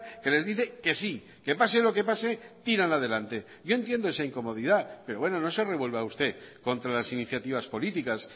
que les dice que sí que pase lo que pase tiran adelante yo entiendo esa incomodidad pero bueno no se revuelva usted contra las iniciativas políticas